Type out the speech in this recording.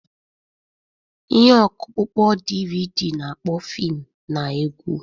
Ihe ọkpụkpọ DVD na-akpọ fim na egwu.